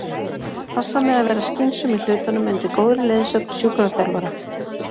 Passa mig að vera skynsöm í hlutunum undir góðri leiðsögn sjúkraþjálfara.